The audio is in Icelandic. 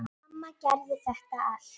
Börn þeirra hjóna eru